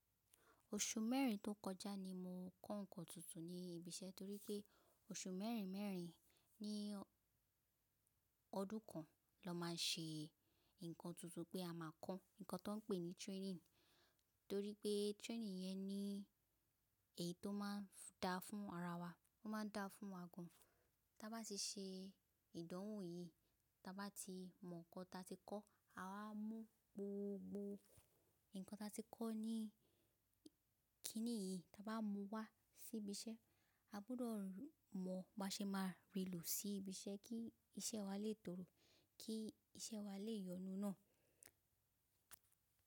Oṣù mẹ́rin tó kọjá ni mo kọ́ ǹkan tuntun ní ibi iṣẹ́ torí pé oṣù mẹ́rin mẹ́rin ní ọdún kan lọ́ má ṣe ǹkan tuntun pé a máa kọ́ ǹkan tó ń pè ní training. Torí pé training yẹn ní èyí tó má ń dá fún ara wa, ó má ń dá fún wa gan. Ta bá ti ṣe ìdánwò yìí, ta bá ti mọ ǹkan ta ti kọ́, awá mú gbogbo ǹkan ta ti kọ́ ní kìnì yìí, ta bá mú wá sí ibi iṣẹ́. A gbọ́dọ̀ mọ̀ bí a ṣe máa rì lò sí ibi iṣẹ́ kí iṣẹ́ wa lè tòrò, kí iṣẹ́ wa lè yọnu ná.